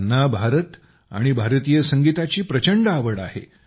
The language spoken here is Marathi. त्यांना भारत आणि भारतीय संगीताची प्रचंड आवड आहे